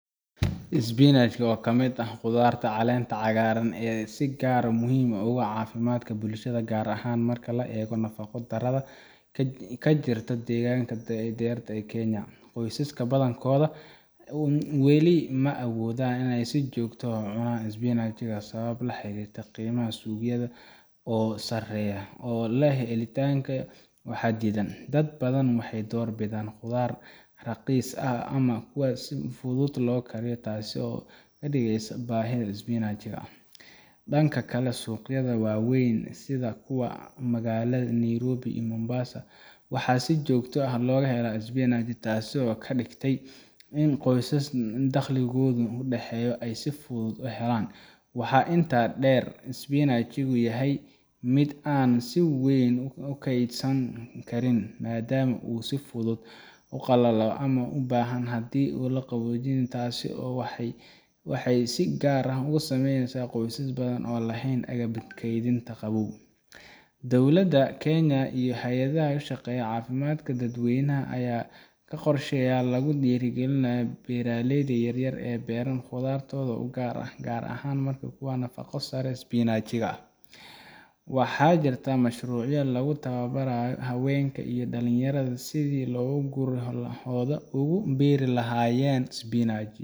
spinach oo kamidh ah qudhaarta caleenta cagaaran ee si gaar muhiim ogu ah cafimaadhka bulashadha gaar ahan marka la eego nafaqa dharadha kajirto dheeganka dhan yarta ee kenya qoysaska badhankoodha wey leeyihin ma awoodhan iney si joogto ucunan spinach sawabo laxirirto qiimaha suuqyadha oo sareyo oo leh helitaanka waxa dhiidan dhadh badhan waxey dhoor bidhan qudhaar raqiis ah ama kuwa si fudhudh lo kariyo taasi oo kadhigeeyso baahidha spinach dhanka kale suuqyadha waween sidha magaladha Nairobi iyi Mombasa waxa si joogta ah logahela spinach taasi oo kadhigtay inn qooysas dhalqigoodu udhaxeeyo eey si fudhudh uhelaan waxa inta dheer spinach inu yahay midh caan si weyn ukeeydhsami karin madhaama u si fudhudh kuqalalo ama ubahan hadhi laqaboojinin taasi oo waxey si gaar ah isameneysa qooysas badan oo laheyn agabka keeybinta qaboobga dhowlada kenya iyo haayadhaha ushaqeeyo cafimaadhka dhad weeynaha aya kawadan qorshayaal lagudhiri galinaya beeraleydha yaryar ee beran qudhartoda gaar ahan kuwa marka nafaqadha sare spinach waxa jira mashruucyo lagutawabarayo haweenka iyi dhalin yaratha sithi guryahoodha ogu beeri lahayeen spinach